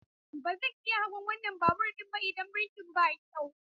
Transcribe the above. Ba zan iya hawan wannan babur ɗin ba idan birkin ba kyau.